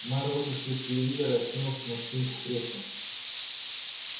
мэр выключил телевизор и откинулся на спинку кресла